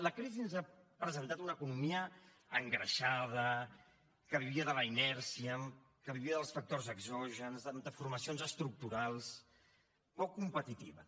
la crisi ens ha presentat una economia engreixada que vivia de la inèrcia que vivia dels factors exògens de formacions estructurals poc competitiva